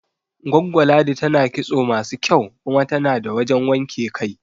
Goggo Ladi tana kitso masu kyau kuma tana da wajan wanke kai